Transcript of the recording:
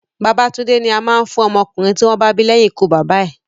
Babatúndé ni a máa ń fún ọmọ ọkùnrin tí wọ́n bá bí leyin ikú bàbá bàbá ẹ̀